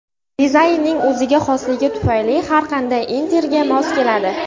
Dizaynining o‘ziga xosligi tufayli har qanday interyerga mos keladi.